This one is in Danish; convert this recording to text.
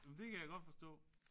Men det kan jeg godt forstå